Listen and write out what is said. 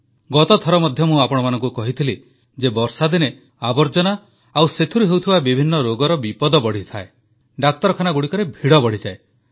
ଗତଥର ମଧ୍ୟ ମୁଁ ଆପଣମାନଙ୍କୁ କହିଥିଲି ଯେ ବର୍ଷାଦିନେ ଆବର୍ଜନା ଓ ସେଥିରୁ ହେଉଥିବା ବିଭିନ୍ନ ରୋଗର ବିପଦ ବଢ଼ିଯାଏ ଡାକ୍ତରଖାନାଗୁଡ଼ିକରେ ଭିଡ଼ ବଢ଼ିଯାଏ